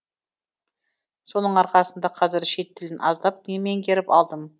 соның арқасында қазір шет тілін аздап меңгеріп алдым